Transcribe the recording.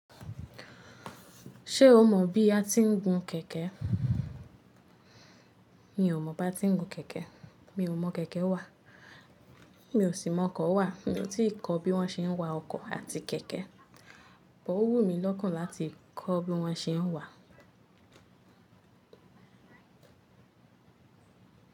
Ṣé o mọ bí a ti ń gun kẹ̀kẹ́? Mi ò mọ bá ti ń gun kẹ̀kẹ́. Mi ò mọ̀ kẹ̀kẹ́ wà. Mi ò sì mọ ọkọ̀ wà. Mi ò tí ì kọ́ bí wọ́n ṣe ń wa ọkọ̀ àti kẹ̀kẹ́. But owù mí lọ́kàn láti kọ́ bí wọ́n ṣe ń wà.